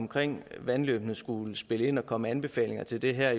omkring vandløbende skulle spille ind og komme med anbefalinger til det her